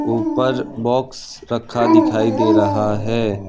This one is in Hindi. ऊपर बॉक्स रखा दिखाई दे रहा है।